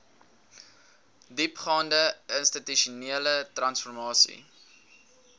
diepgaande institusionele transformasie